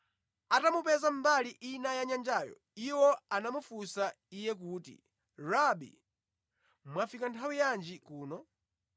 Atamupeza mbali ina ya nyanjayo, iwo anamufunsa Iye kuti, “Rabi, mwafika nthawi yanji kuno?”